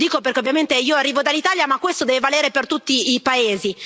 Lo dico, ovviamente, perché io arrivo dall'Italia, ma questo deve valere per tutti i paesi.